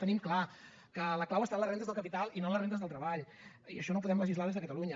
tenim clar que la clau està en les rendes del capital i no en les rendes del treball i això no ho podem legislar des de catalunya